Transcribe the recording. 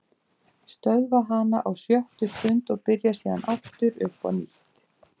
Stöðva hana á sjöttu stund og byrja síðan aftur uppá nýtt.